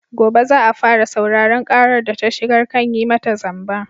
Gobe za a fara sauraron ƙarar da ta shigar kan yi mata zamba.